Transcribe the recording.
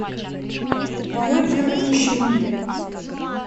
мой первый мужчина